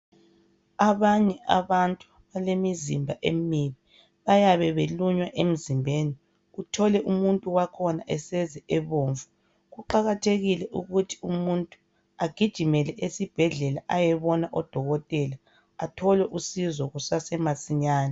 Abanye abantu balemizimba emibi bayabe belunywa emzimbeni uthole umuntu wakhona eseze ebomvu kuqakathekile ukuthi umuntu agijimele esibhedlela ayebona odokotela athole usizo kusasemasinyane.